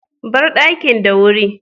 Bar dakin da wuri.